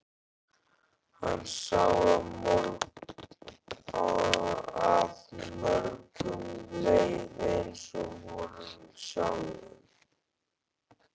Hann sá að mörgum leið eins og honum sjálfum.